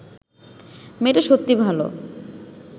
মেয়েটা সত্যি ভাল